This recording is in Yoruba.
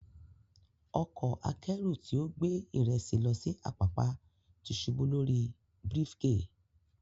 Ọkọ̀ akẹ́rù tí ó gbé ìrẹsì lọ sí Apapa ti ṣubú lórí brifge.